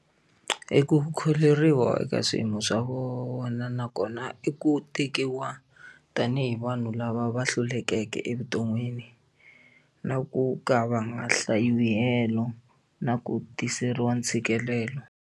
I ku kholeriwa eka swiyimo swa vona nakona i ku tekiwa tanihi vanhu lava va hlulekeke evuton'wini na ku ka va nga hlayiwi helo na ku tiseriwa ntshikelelo.